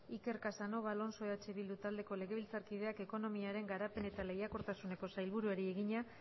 iker casanova alonso eh bildu taldeko legebiltzarkideak ekonomiaren garapen eta lehiakortasuneko sailburuari egina